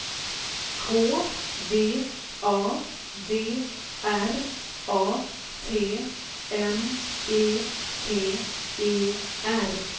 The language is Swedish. K V A D R A T M E T E R